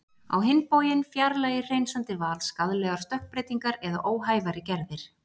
Á hinn bóginn fjarlægir hreinsandi val skaðlegar stökkbreytingar eða óhæfari gerðir.